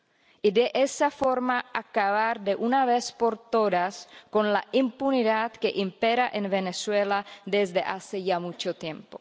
y de esa forma acabar de una vez por todas con la impunidad que impera en Venezuela desde hace ya mucho tiempo.